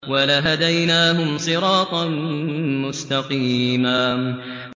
وَلَهَدَيْنَاهُمْ صِرَاطًا مُّسْتَقِيمًا